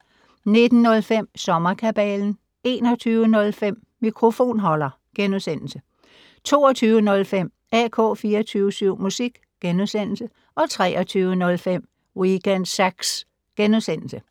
19:05: Sommerkabalen 21:05: Mikrofonholder * 22:05: AK24syv musik * 23:05: Weekend Sax *